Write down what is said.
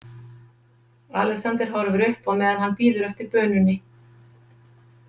Alexander horfir upp á meðan hann bíður eftir bununni.